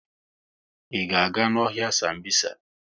I ga-aga n'ọhịa Sambisa?